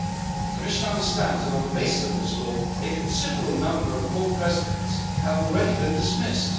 The Commission understands that, on the basis of this law, a considerable number of court presidents have already been dismissed.